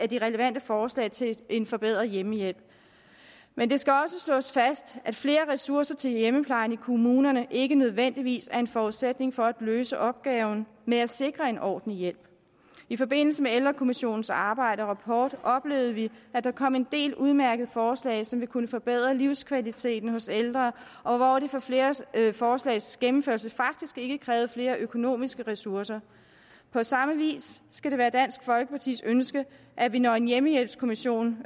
de relevante forslag til en forbedret hjemmehjælp men det skal også slås fast at flere ressourcer til hjemmeplejen i kommunerne ikke nødvendigvis er en forudsætning for at løse opgaven med at sikre en ordentlig hjælp i forbindelse med ældrekommissionens arbejde og rapport oplevede vi at der kom en del udmærkede forslag som vil kunne forbedre livskvaliteten hos ældre og hvor det for flere forslags gennemførelse faktisk ikke krævede flere økonomiske ressourcer på samme vis skal det være dansk folkepartis ønske at vi når en hjemmehjælpskommission